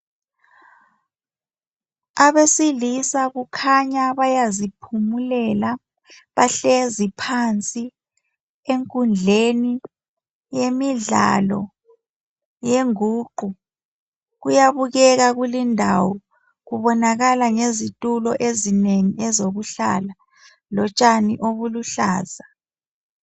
Abesilisa kukhanya bayaziphumulela. Bahlezi phansi enkundleni yemidlalo yenguqu. Kuyabukeka kulindawo. Kubonakala ngezitulo ezinengi ezokuhlala lotshani obuluhlaza.